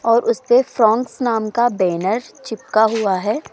और उसपे फ्रोगंस नाम का बैनर चिपका हुआ है।